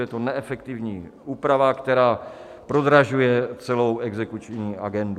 Je to neefektivní úprava, která prodražuje celou exekuční agendu.